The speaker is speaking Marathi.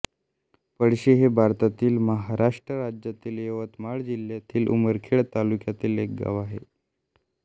पळशी हे भारतातील महाराष्ट्र राज्यातील यवतमाळ जिल्ह्यातील उमरखेड तालुक्यातील एक गाव आहे